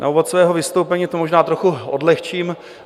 Na úvod svého vystoupení to možná trochu odlehčím.